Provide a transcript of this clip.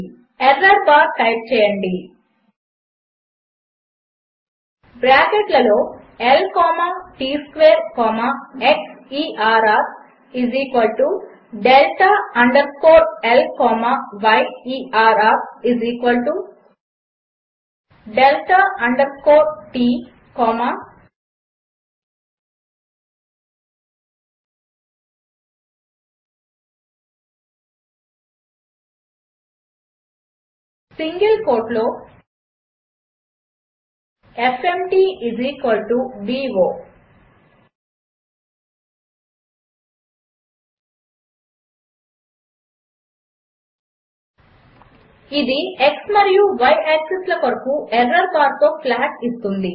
error bar type చేయండి బ్రాకెట్లలో L comma T square comma xerrడెల్టా అండర్ స్కోర్ L కామా yerrడెల్టా underscore T comma single కోట్లో fmtbo ఇది x మరియు y యాక్సిస్ల కొరకు ఎర్రర్ బార్తో ప్లాట్ ఇస్తుంది